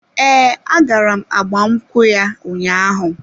Ee, agara m agbamnkwu ya ụnyaahụ.